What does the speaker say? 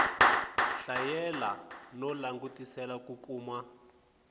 hlayela no langutisela ku kuma